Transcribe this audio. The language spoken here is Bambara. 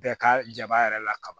Bɛɛ ka jaba yɛrɛ la kaban